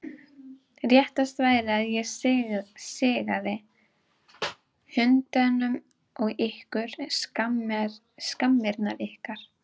Réttast væri að ég sigaði hundunum á ykkur, skammirnar ykkar!